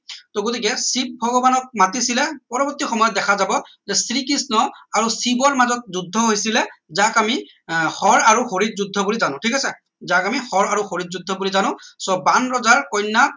so গতিকে শিৱ ভগৱানক মতিছিলে পৰৱৰ্তী সময়ত দেখা যাব যে শ্ৰীকৃষ্ণ আৰু শিৱৰ মাজত যুদ্ধ হৈছিলে যাক আমি আহ হৰ আৰু হৰি যুদ্ধ বুলি জানো ঠিক আছে যাক আমি হৰ আৰু হৰি যুদ্ধ বুলি জানো so বাণ ৰজা কন্যা